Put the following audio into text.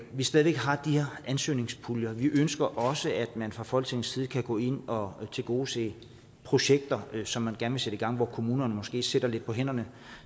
vi slet ikke har de her ansøgningspuljer vi ønsker også at man fra folketingets side kan gå ind og tilgodese projekter som man gerne vil sætte i gang hvor kommunerne måske sidder lidt på hænderne